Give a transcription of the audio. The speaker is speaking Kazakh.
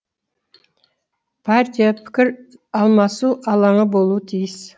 партия пікір алмасу алаңы болуы тиіс